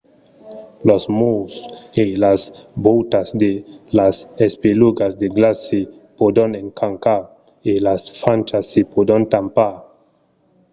los murs e las vòutas de las espelugas de glaç se pòdon escrancar e las frachas se pòdon tampar